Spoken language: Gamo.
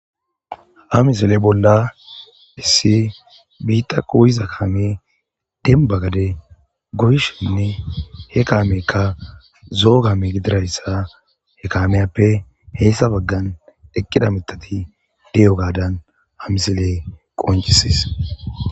Ha misele bolla hissi biitta qoyiza kaame denbagade goyishenne he kaamekka zo'o kame gidirayssa he kaameyappe heessa baggan eqqida mitati deyo gadan hamisile qoncisis.